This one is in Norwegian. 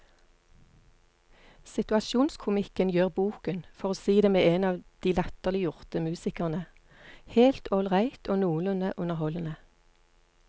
Situasjonskomikken gjør boken, for å si det med en av de latterliggjorte musikerne, helt ålreit og noenlunde underholdende.